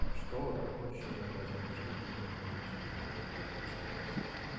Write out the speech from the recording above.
что ты хочешь именно изменить что ты именно имеешь в виду окей объясни просто